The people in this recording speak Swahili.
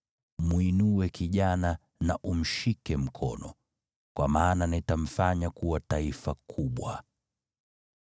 Mwinue kijana na umshike mkono, kwa maana nitamfanya kuwa taifa kubwa.”